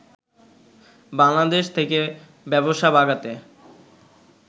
বাংলাদেশ থেকে ব্যবসা বাগাতে